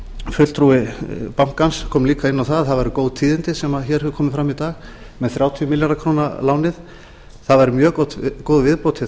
fulltrúi bankans kom líka inn á að það væru góð tíðindi sem hér hafa komið fram í dag með þrjátíu milljarða króna lánið það væri mjög góð viðbót við